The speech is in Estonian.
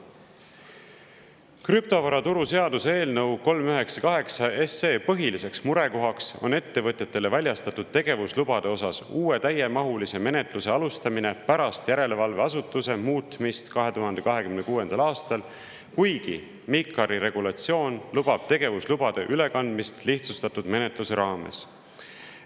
Krüptovaraturu seaduse eelnõu 398 põhiline murekoht on ettevõtetele väljastatud tegevuslubade osas uue täiemahulise menetluse alustamine pärast järelevalveasutuse muutmist 2026. aastal, kuigi MiCAR-i regulatsioon lubab tegevuslubade ülekandmist lihtsustatud menetluse raames.